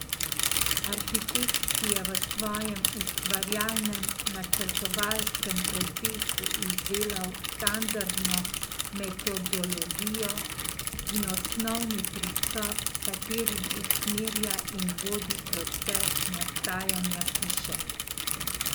Arhitekt si je v svojem ustvarjalnem načrtovalskem procesu izdelal standardno metodologijo in osnovni pristop, s katerim usmerja in vodi proces nastajanja hiše.